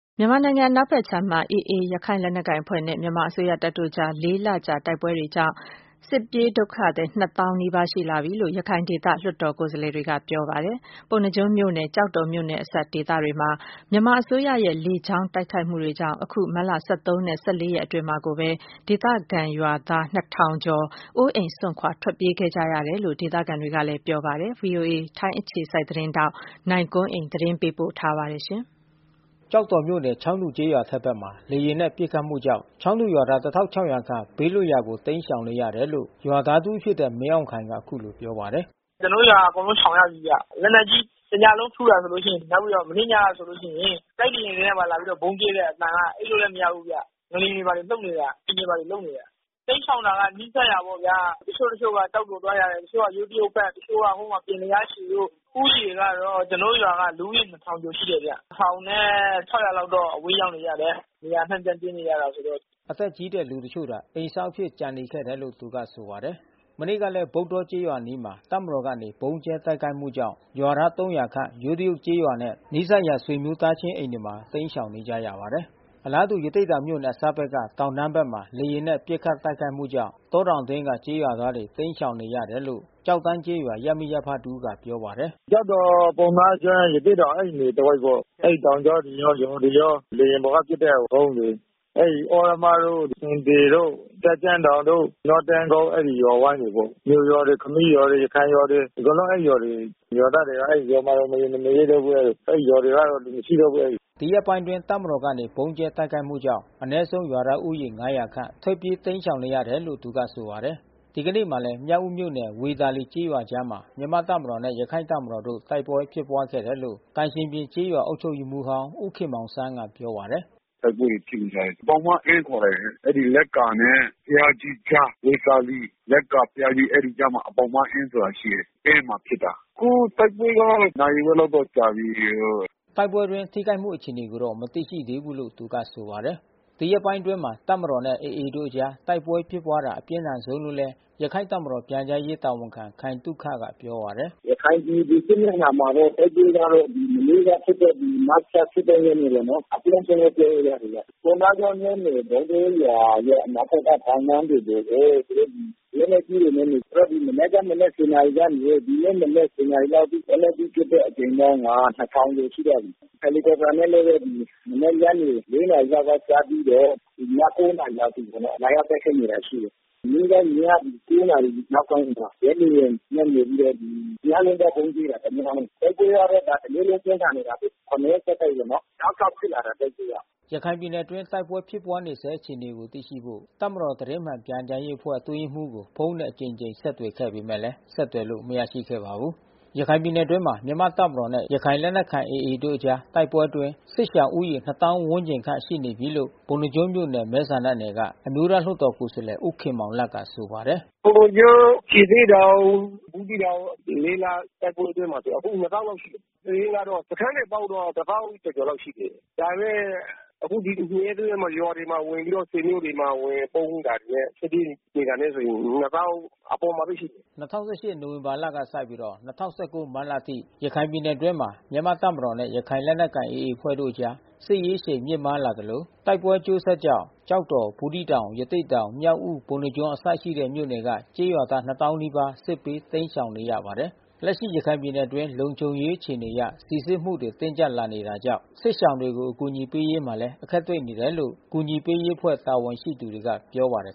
မြန်မာနိုင်ငံအနောက်ဖက်ခြမ်းမှာ AA ရခိုင်လက်နက်ကိုင်အဖွဲ့နဲ့ မြန်မာအစိုးရတပ်တို့အကြား လေးလကြာ တိုက်ပွဲတွေကြောင့် စစ်ပြေးဒုက္ခသည် နှစ်သောင်းနီးပါး ရှိလာပြီလို့ ရခိုင်ဒေသ လွှတ်တော်ကိုယ်စားလှယ်တွေက ပြောပါတယ် ။ ပုဏ္ဏားကျွန်း မြို့နယ်၊ ကျောက်တော်မြို့နယ် အစပ်ဒေသတွေမှာ မြန်မာအစိုးရရဲ့ လေကြောင်း တိုက်ခိုက်မှုတွေကြောင့် အခု မတ်လ ၁၃ နဲ့ ၁၄ ရက်အတွင်းမှာကို ဒေသခံရွာသား နှစ်ထောင်ကျော် အိုးအိမ်စွန့်ခွာထွက်ပြေးခဲ့ကြရတယ်လို့ ဒေသခံတွေက ပြောပါတယ်။ ဗွီအိုအေ သတင်းထောက် ကိုနိုင်ကွန်းအိန် သတင်းပေးပို့ထားပါတယ်။ ကျောက်တော်မြို့နယ်၊ ချောင်းတူကျေးရွာအထက်ဘက်မှာ လေယာဉ်နဲ့ပစ်ခတ်မှုကြောင့် ချောင်းတူရွာသား ခန့် ဘေးလွတ်ရာကိုတိမ်းရှောင်နေရတယ်လို့ ရွာသားတဦး ဖြစ်တဲ့ မင်းခိုင်အောင်က အခုလိုပြောပါတယ်။ “ကျွန်တော်တို့ ရွာအကုန်လုံးရှောင်ရပြီဗျ။ လက်နက်ကြီး တညလုံးထုတာ ဆိုလို့ရှိရင် နောက်ပြီးတော့ မနေ့ညက ဆိုလို့ရှိရင် တိုက်လေယာဉ်နဲ့ပါ လာပြီးဗုံးကြဲတဲ့အသံက အိပ်လို့လည်း မရဘူးဗျ။ ငလျှင်တွေဘာတွေလှုပ်နေတာ အိမ် တွေဘာတွေလှုပ်နေတယ်။ တိမ်းရှောင်တာက နီးစပ်ရာပေါ့ဗျာ။ တချို့တချို့က ကျောက်တော်သွားကြတယ်။ တချို့က ယိုးတရုတ် တချို့ကပြင်လျားရှည်တို့ ။ ဦးရေကတော့ ကျွန်တော်တို့ရွာက လူဦးရေ ကျော် ရှိတယ်ဗျ။ လောက်တော့ အဝေးရောက်နေကြတယ်။ နေရာ အနှံ့ပြေးနေ ရတယ်ဆိုတော့။” အသက်ကြီးတဲ့လူတချို့သာ အိမ်စောင့်အဖြစ် ကျန်နေခဲ့တယ်လို့သူကဆိုပါတယ်။ မနေ့ကလဲ ဗုဒေါ္ဓကျေးရွာအနီးမှာ တပ်မတော်ကနေဗုံးကြဲ တိုက်ခိုက်မှုကြောင့် ရွာသား ခန့် ယိုးတရုတ်ကျေး ရွာနဲ့ နီးစပ်ရာဆွေမျိုးသားချင်းအိမ်တွေမှာ တိမ်းရှောင်နေရပါတယ်။ အလားတူ ရသေ့တောင်မြို့နယ်အစပ်ဘက်က တောင်တန်းဘက်မှာ လေယာဉ် နဲ့ပစ်ခတ်တိုက်ခိုက်မှုကြောင့် တော တောင်အတွင်းက ကျေးရွာသားတွေ တိမ်းရှောင်နေရတယ်လို့ ကျောက်တန်းကျေးရွာ ရပ်မိရပ်ဖတဦးက ပြောပါ တယ်။ “ကျောက်တော်၊ ပုဏ္ဏားကျွန်၊း ရသေ့တောင် အဲဒီနယ်တဝိုက်ပေါ့။ အဲဒီတောင်ကြောတွေရော၊ ရွာတွေရော လေယာဉ် ပေါ်ကပစ်တဲ့ ဗုံးတွေ။ အဲဒီ သြရမတို့ ၊ ဆင်သေတို့ ၊တန့်ကြန့်တောင်တို့၊ နွားတန်းကုန်း အဲဒီရွာဝိုင်းတွေပေါ့။ မြို့ရွာတွေ ခမီးရွာတွေ ၊ ရခိုင်ရွာတွေ အကုန်လုံးအဲဒီရွာတွေ ရွာသားတွေရွာမှာ မနေရဲတော့ဘူး။ အဲဒီရွာက လူမရှိတော့ဘူး။” ဒီရက်ပိုင်းအတွင်း တပ်မတော်ကနေ ဗုံးကြဲတိုက်ခိုက်မှုကြောင့် အနည်းဆုံး ရွာသားဦးရေ ခန့် ထွက်ပြေးတိမ်းရှောင် နေရတယ်လို့သူကဆိုပါတယ်။ ဒီကနေ့မှာလည်း မြောက်ဦးမြို့နယ် ဝေသာလီကျေးရွာအကြားမှာ မြန်မာ့ တပ်မတော်နဲ့ ရခိုင့်တပ်မတော်တို့ တိုက်ပွဲ ဖြစ်ပွားခဲ့တယ် လို့ သံရှင်ပြင် အုပ်ချုပ်ရေးမှူးဟောင်း ဦးခင်မောင်ဆန်းကပြောပါတယ်။ “တိုက်ပွဲတွေဖြစ်နေကြတယ်။ ဘောင်မအင်းခေါ်တယ်။ အဲဒီလက္ကာနဲ့ဘုရာကြီးကြား ဝေသာလီ လက္ကာ ဘုရားကြီး အဲဒီအကြား မှာဘောင်မအင်း ဆိုတာ ရှိတယ်။ အဲဒီမှာဖြစ်တာ။ ခုတိုက်ပွဲကတော့ နာရီဝက်လောက်တော့ကြာပြီ။” တိုက်ပွဲအတွင်းထိခိုက်မှု အခြေအနေကိုတော့ မသိရသေးဘူးလို့သူကဆိုပါတယ်။ ဒီရက်ပိုင်းတွေအတွင်း တပ်မတော်နဲ့AAတို့အကြားတိုက်ပွဲဖြစ်ပွားတာအပြင်းထန်ဆုံးလို့လဲ ရခိုင့်တပ်မတော် ပြန်ကြားရေး တာဝန်ခံခိုင်သုခကပြောပါတယ်။ “ရခိုင်ပြည်စစ်မျက်နှာမှာတော့ တိုက်ပွဲကတော့ မနေ့ကဖြစ်တဲ့ မတ်လ ရက်နေ့ ပေါ့နော်။ အပြင်းဆုံးလို့ပြောလို့ ရတယ်ဗျ။ ပုဏ္ဏားကျွန်းမြို့နယ်၊ ဗုဒေါ္ဓကျေးရွာရဲ့ အနောက်ဖက်က တောင်တန်းတွေကို သူတို့လက်နက်ကြီးတွေနဲ့ မနေ့က မနက် နာရီကနေ ဒီနေ့မနက် နာရီလောက် အထိ လက်နက်ကြီး ပစ်တဲ့ အကြိမ်ပေါင်းက ကျော်ရှိသွားပြီး။ ဟယ်လီကော်ပတာ နဲ့လည်း မနေ့ညနေ နာရီလောက် ကစပြီးတော့ ည နာရီအထိ လာရောက် တိုက်ခိုက်နေတာ ရှိတယ်။ မနေ့ကည နာရီ နောက်ပိုင်းမှာ ဂျက်လေယာဉ် နဲ့နေပြီးတော့ တညလုံးဗုံးကြဲတယ်။တိုက်ပွဲကတော့ တနေ့လုံးပြင်းထန်နေတာဘဲ။ ရက်ဆက်တိုက်ပေါ့နော် တောက်လျှောက်ဖြစ်လာ တယ်တိုက်ပွဲက။” ရခိုင်ပြည်နယ်အတွင်းတိုက်ပွဲဖြစ်ပွား နေဆဲအခြေအနေကို သိရှိဖို့ တပ်မတော် သတင်းမှန်ပြန်ကြားရေး အဖွဲ့အတွင်း ရေးမှူးကို ဖုန်းနဲ့အကြိမ်ကြိမ် ဆက်သွယ် ခဲ့ပေမဲ့ ဆက်သွယ်လို့မရရှိခဲ့ပါဘူး။ ရခိုင်ပြည်နယ်အတွင်းမှာ မြန်မာ့တပ်မတော်နဲ့ ရခိုင်လက်နက်ကိုင် AAတို့ အကြား တိုက်ပွဲအတွင်း စစ်ရှောင် နှစ်သောင်း ဝန်းကျင်ခန့် ရှိနေပြီလို့ ပုဏ္ဏားကျွန်းမြို့နယ် မဲဆန္ဒနယ်က အမျိုးသားလွှတ်တော်ကိုယ်စားလှယ် ဦးခင်မောင်လတ်ကဆိုပါတယ်။ “ပုဏ္ဏားကျွန်း ၊ရသေ့တောင် ၊ဘူးသီးတောင် လတိုက်ပွဲအတွင်းမှာ အခု လောက် ရှိနေပြီး။ စာရင်းကတော့ စခန်းတွေ၊ တောင်းတော့ ကျော်ကျော် လောက်ရှိတယ်။ ဒါပေမဲ့ အခုနှစ်ရက် သုံးရက်ရွာတွေမှာရွာတွေမှာ ဝင်ပြီးတော့ ဆွေမျိုးတွေ မှာ ဝင်ပုန်း နေတာနဲ့ ထွက်ပြေးနေတာ နဲ့ဆို နှစ်သောင်း အပေါ်မှာဘဲရှိတယ်။” ၂၀၁၈ နိုဝင်ဘာလကစပြီး ၂၀၁၉ မတ်လအထိ ရခိုင်ပြည်နယ်အတွင်းမှာ မြန်မာ့တပ်မတော်နဲ့ ရခိုင်လက်နက်ကိုင် AA အဖွဲ့တို့အကြား စစ်ရေးအရှိန်မြင့်မားလာ သလို တိုက်ပွဲ အကျိုးဆက်ကြောင့် ကျောက်တော်၊ ဘူးသီးတောင်၊ ရသေ့တောင် ၊မြောက်ဦး၊ ပုဏ္ဏားကျွန်းမြို့အစ ရှိတဲ့မြို့နယ်က ကျေးရွာသား နီးပါး စစ်ဘေးတိမ်း ရှောင် နေရပါတယ်။ လက်ရှိရခိုင်ပြည်နယ်အတွင်းလုံခြုံရေးအခြေအနေအရ စီစစ်မှုတွေ တင်းကြပ်လာတာကြောင့် စစ်ရှောင်တွေကို အကူညီပေးရေးမှာလည်း အခက်တွေ့နေတယ်လို့ အကူညီပေးရေးအဖွဲ့တာဝန်ရှိသူတွေကပြောပါတယ်